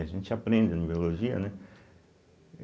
A gente aprende na biologia, né?